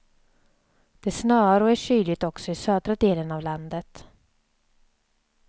Det snöar och är kyligt också i södra delen av landet.